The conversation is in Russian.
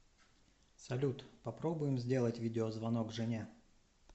салют попробуем сделать видеозвонок жене